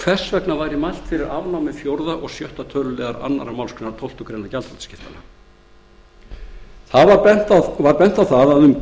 hvers vegna mælt væri fyrir afnámi fjórða og sjötta tölulið annarri málsgrein tólftu greinar gjaldþrotaskiptalaga var bent á að um